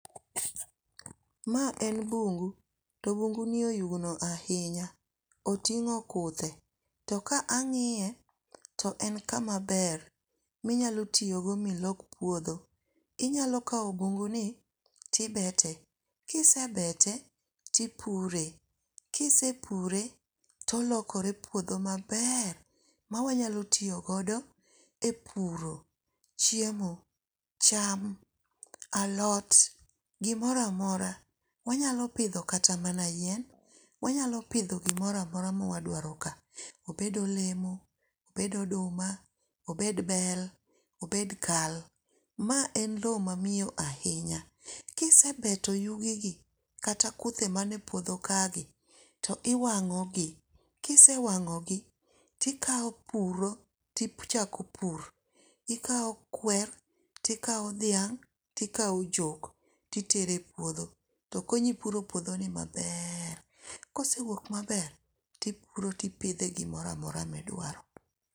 Ma en bungu. To bungu ni oyugno ahinya. Otingó kuthe. To ka angíye, to en kama ber minyalo tiyo go milok puodho. Inyalo kawo bungu ni to ibete. Kisebete to upure. Kisepure to olokore puodho maber ma wanyalo tiyogodo e puro chiemo, cham, alot, gimoro amora mwanyalo pidho kata mana yien. Wanyalo pidho gimoro amora ma wadwaro ka. Obed olemo, obed oduma, obed bel, obed kal. Ma en lowo ma miyo ahinya. Kisebeto yugi gi, kata kuthe mane puodho kagi, to iwangó gi. Kisewangó gi, tikawo puro tichako pur. Ikawo kwer, tikawo dhiang', tikawo jok, titero e puodho, to konyi puro puodho ni maber. To kosewuok maber, tipuro, tipidhe gimoro amora ma idwaro.